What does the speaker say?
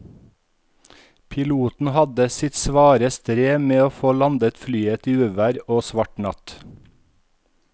Piloten hadde sitt svare strev med å få landet flyet i uvær og svart natt.